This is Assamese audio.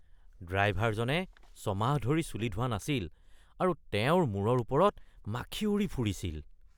ড্ৰাইভাৰজনে ছমাহ ধৰি চুলি ধোৱা নাছিল আৰু তেওঁৰ মূৰৰ ওপৰত মাখি উৰি ফুৰিছিল।